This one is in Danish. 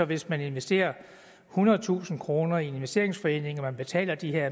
hvis man investerer ethundredetusind kroner i en investeringsforening og betaler de her